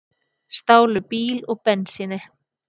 Stálu bíl og bensíni